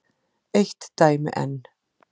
Eitt dæmi enn.